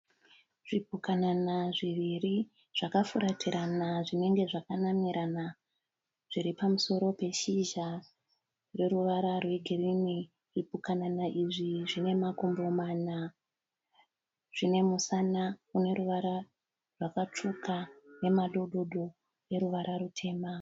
Zvipukanana zviviri zvakafuratirana zvinenge zvakanamirana. Zviri pamusoro peshizha rine ruvara rwegirinhi. Zvipukanana izvi zvine makumbo mana. Zvine musana une ruvara rwakatsvuka nemadhodhodho eruvara rutema.